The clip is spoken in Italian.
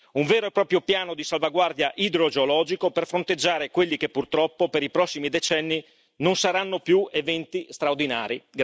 Un vero e proprio piano di salvaguardia idrogeologico per fronteggiare quelli che, purtroppo, per i prossimi decenni non saranno più eventi straordinari.